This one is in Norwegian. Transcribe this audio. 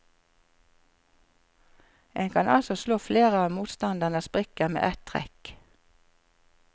En kan altså slå flere av motstanderens brikker med et trekk.